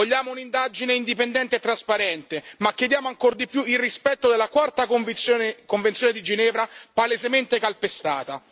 Vogliamo un'indagine indipendente e trasparente ma chiediamo ancor di più il rispetto della quarta convenzione di Ginevra, palesemente calpestata.